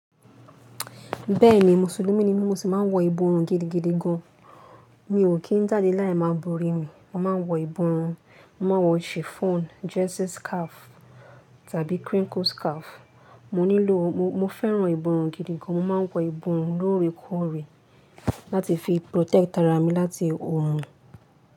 Bẹ́ẹ̀ni, musulumi ni mí mo sì máa ń wọ ìborùn gidigidi gan. Mi ò kí n jáde láì máa borí mi. Mo máa ń wọ ìborùn, mo ma wọ chiffon jersey scarf tàbí crinkle scarf. Mo nílò mo, mo fẹ́ràn ìborùn gidi gan. Mo ma ń wọ ìborùn lóore kóòre láti fi protect ara mi láti orun.